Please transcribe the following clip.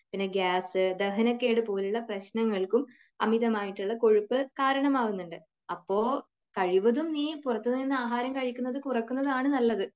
പിന്നെ ഗ്യാസ് , ദഹനക്കേട് പോലുള്ള പ്രശ്നങ്ങൾക്കും അമിതമായിട്ടുള്ള കൊഴുപ്പ് കാരണമാകുന്നുണ്ട്. അപ്പോൾ കഴിവതും നീ പുറത്തു നിന്നും ആഹാരം കഴിക്കുന്നത് കുറയ്ക്കുന്നതാണ് നല്ലത്.